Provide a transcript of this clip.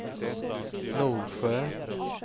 Norsjö